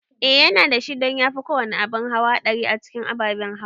Eh yana dashi don yafi kowane abin hawa haɗari a cikin ababen hawa